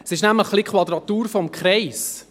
Es ist nämlich ein wenig eine Quadratur des Kreises.